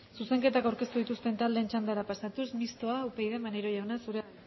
zuzenketako ordeztu ikusten taldeen txandara pasatuz mistoa upyd maneiro jauna zurea